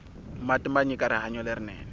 mati manyika rihanyo lerinene